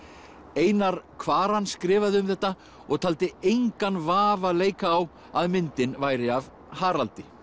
einar Kvaran skrifaði um þetta og taldi engan vafa leika á að myndin væri af Haraldi